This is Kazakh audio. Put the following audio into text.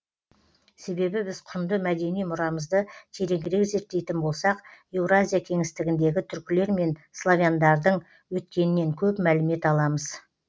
себебі біз құнды мәдени мұрамызды тереңірек зерттейтін болсақ еуразия кеңістігіндегі түркілер мен славяндардың өткенінен көп мәлімет аламыз